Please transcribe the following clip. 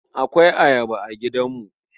Akwai Ayaba a gidanmu.